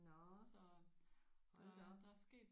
Nåh hold da op